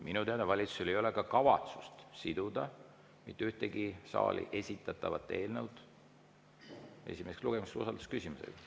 Minu teada valitsusel ei ole ka kavatsust siduda mitte ühtegi esimeseks lugemiseks saali esitatavat eelnõu usaldusküsimusega.